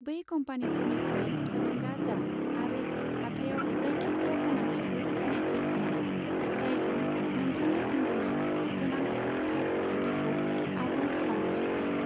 बै कम्पानिफोरनिफ्राय थुलुंगा जा आरो हाथाइयाव जायखिजाया गोनांथिखौ सिनायथि खालाम, जायजों नोंथांनि आंगोनि गोनांथार थाव फालांगिखौ आबुं खालामनो हायो।